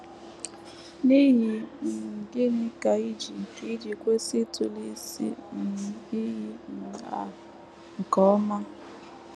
N’ihi um gịnị ka i ji ka i ji kwesị ịtụle isi um iyi um a nke ọma?